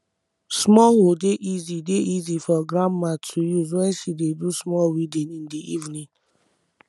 small hoe dey easy dey easy for grandma to use wen she dey do small weeding in the evening